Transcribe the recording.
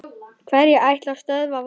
Hverjir ætla að stöðva Val?